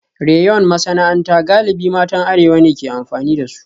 Rayon masana'anta galibi matan arewa ne ke amfani da su